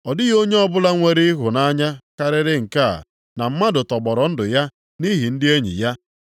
Ọ dịghị onye ọbụla nwere ịhụnanya karịrị nke a na mmadụ tọgbọrọ ndụ ya nʼihi ndị enyi ya.